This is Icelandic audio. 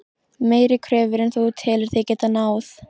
Meiri kröfur en þú telur þig geta náð?